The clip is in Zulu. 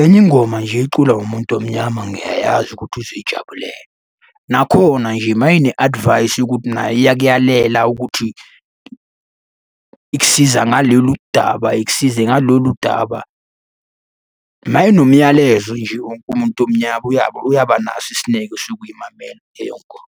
enye ingoma nje eculwa umuntu omnyama ngiyayazi ukuthi uzoyijabulela. Nakhona nje mayine-advice yokuthi nayo iyakuyalela ukuthi ikusiza ngalolu daba, ikusize ngalolu daba. Uma inomyalezo nje wonke umuntu omnyama uyaba naso isineke sokuyimamela leyo ngoma.